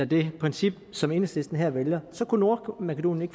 det princip som enhedslisten her vælger kunne nordmakedonien